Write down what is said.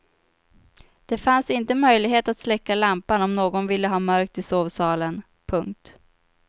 Det fanns inte möjlighet att släcka lampan om någon ville ha mörkt i sovsalen. punkt